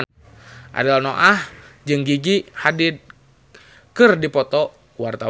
Ariel Noah jeung Gigi Hadid keur dipoto ku wartawan